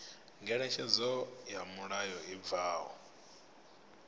ngeletshedzo ya mulayo i bvaho